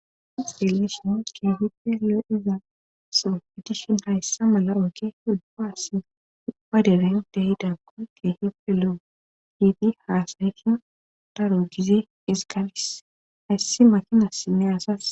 Iselishmo kiehi pe lo iza sofetishon hayssa mala oge hulpaas paderehindehida komete heppelo giiti haasaysa darogize isgalis hayssi makinas sinne asas.